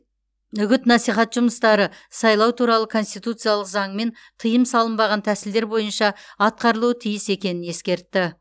үгіт насихат жұмыстары сайлау туралы конституциялық заңмен тиым салынбаған тәсілдер бойынша атқарылуы тиіс екенін ескертті